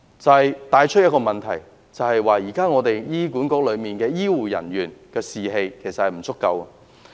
這帶出一個問題，就是現時醫管局內醫護人員的士氣低落。